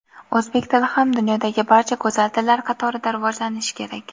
O‘zbek tili ham dunyodagi barcha go‘zal tillar qatorida rivojlanishi kerak.